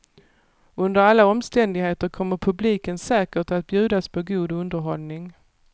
Under alla omständigheter kommer publiken säkert att bjudas på god underhållning.